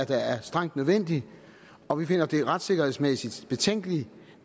der er strengt nødvendigt og vi finder det retssikkerhedsmæssigt betænkeligt